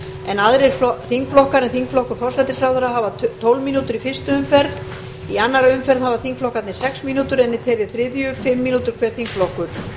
en aðrir þingflokkar en þingflokkur forsætisráðherra hafa tólf mínútur í fyrstu umferð í annarri umferð hafa þingflokkarnir sex mínútur en í þeirri þriðju fimm mínútur hver þingflokkur